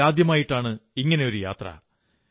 ലോകത്തിൽ ആദ്യമായിട്ടാണ് ഇങ്ങനെയൊരു യാത്ര